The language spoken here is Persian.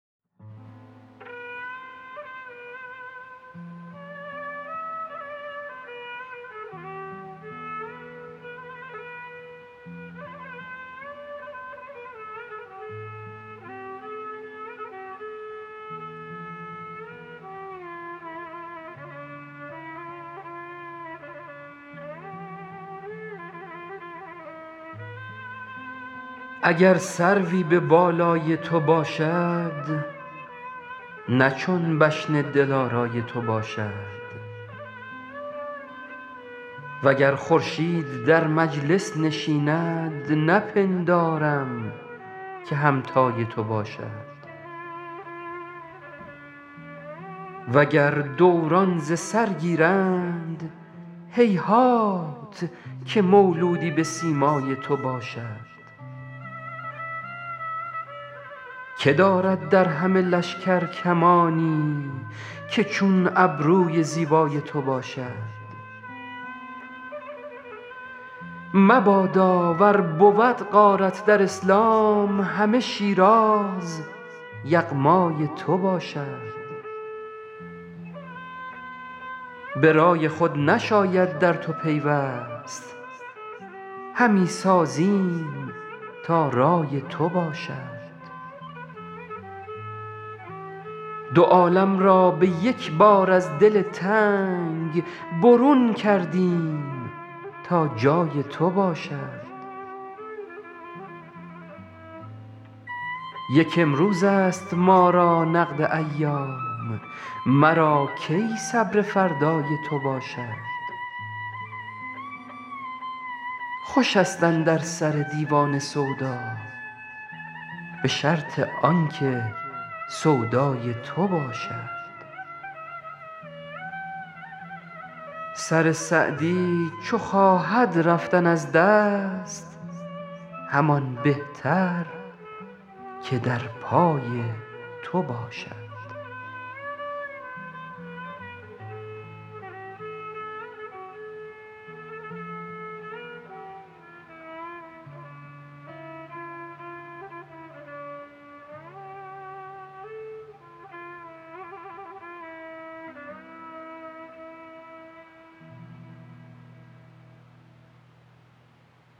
اگر سروی به بالای تو باشد نه چون بشن دلارای تو باشد و گر خورشید در مجلس نشیند نپندارم که همتای تو باشد و گر دوران ز سر گیرند هیهات که مولودی به سیمای تو باشد که دارد در همه لشکر کمانی که چون ابروی زیبای تو باشد مبادا ور بود غارت در اسلام همه شیراز یغمای تو باشد به رای خود نشاید در تو پیوست همی سازیم تا رای تو باشد دو عالم را به یک بار از دل تنگ برون کردیم تا جای تو باشد یک امروزست ما را نقد ایام مرا کی صبر فردای تو باشد خوشست اندر سر دیوانه سودا به شرط آن که سودای تو باشد سر سعدی چو خواهد رفتن از دست همان بهتر که در پای تو باشد